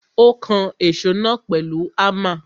Ó kan èsó náà pèlu Hámà.